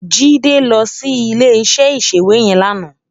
Jide lò si ilé iṣè iṣéwé yèn làná